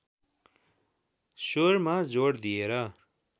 स्वरमा जोड दिएर